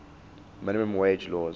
minimum wage laws